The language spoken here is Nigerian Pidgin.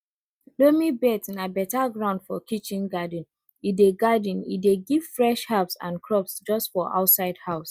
loamy beds na beta ground for kitchen garden e dey garden e dey give fresh herbs and crops just for outside house